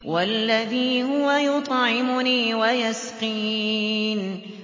وَالَّذِي هُوَ يُطْعِمُنِي وَيَسْقِينِ